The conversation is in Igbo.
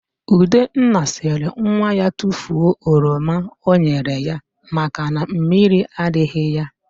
Udenna sịrị nwa ya tufuo oroma ọ nyere ya maka na mmiri adịghị ya.